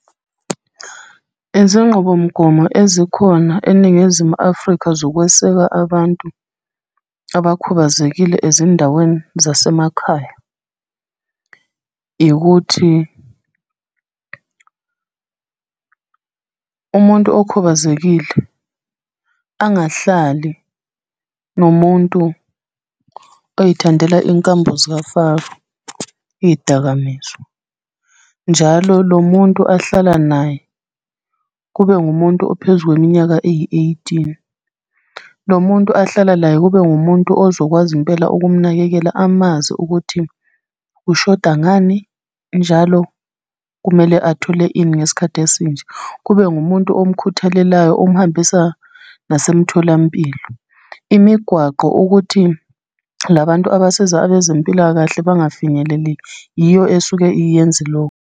Izinqubomgomo ezikhona eNingizimu Afrika zokweseka abantu abakhubazekile ezindaweni zasemakhaya, ikuthi umuntu okhubazekile, angahlali nomuntu oyithandela iy'nkambo zikafaro, iy'dakamizwa. Njalo lo muntu ahlala naye, kube ngumuntu ophezu kweminyaka eyi-eighteen. Lo muntu ahlala layo kube ngumuntu ozokwazi impela ukumunakekela amazi ukuthi ushoda ngani, njalo kumele athole ini ngesikhathi esinje. Kube ngumuntu omkhuthalelayo omhambisa nasemtholampilo. Imigwaqo, ukuthi la bantu abasiza abezempilakahle bangafinyeleli yiyo esuke iyenze loku.